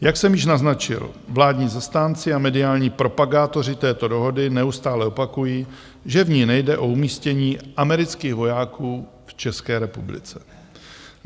Jak jsem již naznačil, vládní zastánci a mediální propagátoři této dohody neustále opakují, že v ní nejde o umístění amerických vojáků v České republice.